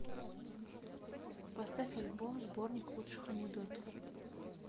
поставь альбом сборник лучших анекдотов